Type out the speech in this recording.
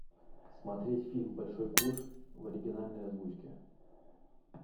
смотреть фильм большой куш в оригинальной озвучке